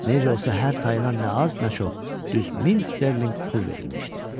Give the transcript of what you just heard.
Necə olsa hər tayına nə az nə çox düz min sterlinq pul verilmişdi.